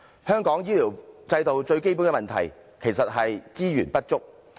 香港醫療制度最基本的問題，其實是資源不足。